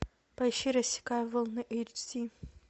поищи рассекая волны эйч ди